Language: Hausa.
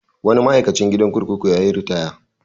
Wani ma'aikacin gidan kurkuku ya yi ritaya.